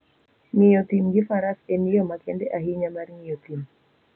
Ng'iyo thim gi Faras en yo makende ahinya mar ng'iyo thim.